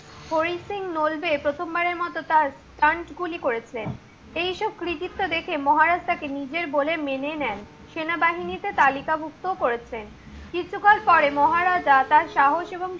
হরি সিং নলবে প্রথম বারের মত তার গুলি করেছেন। এই সব কৃতিত্ব দেখে মহারাজ তাকে নিজের বলে মেনে নেন। সেনাবাহিনীতে তালিকাভুক্ত ও করেছেন। কিছুকাল পরে মহারাজা তার সাহস এবং